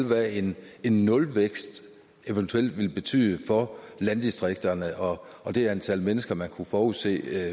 hvad en nulvækst eventuelt vil betyde for landdistrikterne og og det antal mennesker man kunne forudse